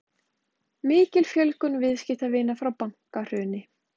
Mikil fjölgun viðskiptavina frá bankahruni